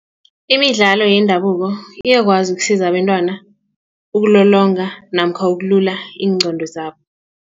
Imidlalo yendabuko iyakwazi ukusiza abentwana ukulolonga namkha ukulula iingqondo zabo.